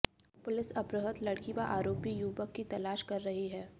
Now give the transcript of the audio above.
police अपहृत लड़की व आरोपी युवक की तलाश कर रही है